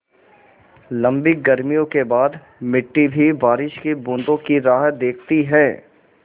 लम्बी गर्मियों के बाद मिट्टी भी बारिश की बूँदों की राह देखती है